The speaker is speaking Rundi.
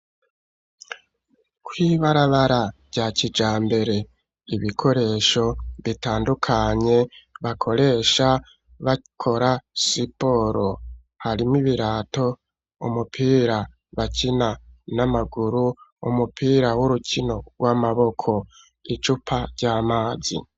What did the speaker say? Kw'ibarabara rya kijambere, ibikoresho bitandukanye, bakoresha bakora siporo; harimwo ibirato, umupira bakina n'amaguru, umupira w'urukino rw'amaboko, icupa ry'amazi.